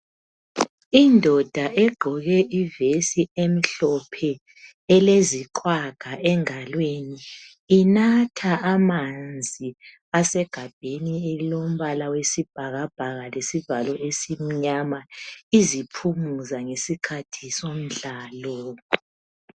Indoda egqoke ivesi emhlophe eleziqhwaga engalweni inatha amanzi asegabheni elilombala oyisibhakabhaka lesivalo esimnyama iziphumuza ngesikhathi somdlalo.